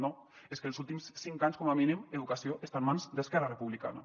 no és que els últims cinc anys com a mínim educació està en mans d’esquerra republicana